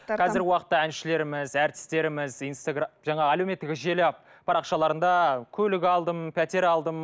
қазіргі уақытта әншілеріміз әртістеріміз жаңа әлеуметтік желі парақшаларында көлік алдым пәтер алдым